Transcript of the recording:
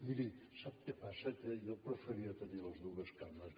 miri sap què passa que jo preferia tenir les dues cames